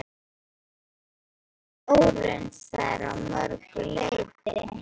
Hann var óraunsær að mörgu leyti.